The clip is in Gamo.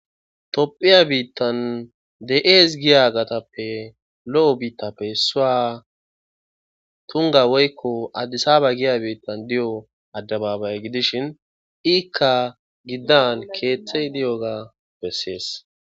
Topphiya biittan de7ees giya gatappe lo7o biittappe suwa tunga woykko addisaaba giya biittan di7o addababay gidishin iikka giddan keeththey di7oga bessees.